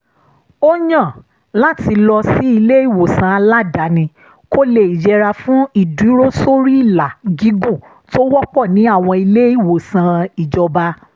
ó yàn láti lọ sí ilé-ìwòsàn aládàáni kó lè yẹra fún ìdúrósóríìlà gígùn tó wọ́pọ̀ ní àwọn ilé-ìwòsàn ìjọba